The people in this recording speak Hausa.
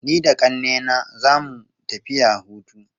Ni da ƙannena za mu tafiya hutu.